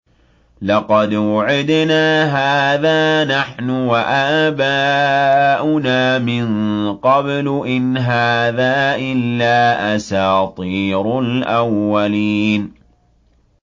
لَقَدْ وُعِدْنَا هَٰذَا نَحْنُ وَآبَاؤُنَا مِن قَبْلُ إِنْ هَٰذَا إِلَّا أَسَاطِيرُ الْأَوَّلِينَ